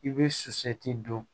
I bɛ sotigi don